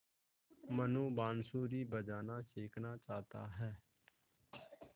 मनु बाँसुरी बजाना सीखना चाहता है